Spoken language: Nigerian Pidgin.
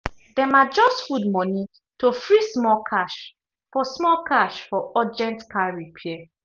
dem adjust food money to free small cash for small cash for urgent car repair.